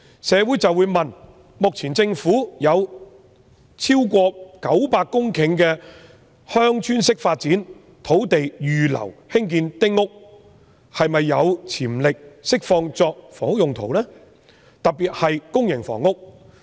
市民就會問，政府目前有超過900公頃鄉村式發展土地預留作興建丁屋之用，是否有潛力釋放一些作住宅用途，特別是用以興建公營房屋？